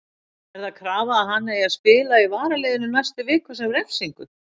Er það krafa að hann eigi að spila í varaliðinu næstu vikur sem refsingu?